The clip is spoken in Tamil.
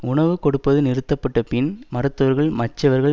உணவு கொடுப்பது நிறுத்தப்பட்ட பின் மருத்துவர்கள் மற்றவர்கள்